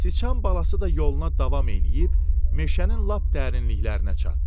Sıçan balası da yoluna davam eləyib meşənin lap dərinliklərinə çatdı.